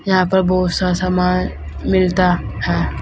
यहां पर बहुत सा सामान मिलता है।